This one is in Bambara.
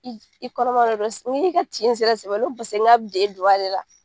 I i kɔnɔma de do n k'i ka tin sera sɛbɛ la n ko pase n k'a bɛ de la.